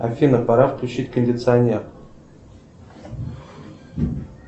афина пора включить кондиционер